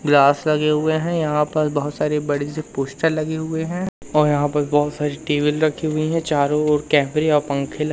glass लगे हुए हैं यहां पर बहुत सारे बड़े से पोस्टर लगे हुए हैं और यहां पर बहुत सारी टेबल रखी हुई हैं चारों ओर कैमरे और पंखे ल् --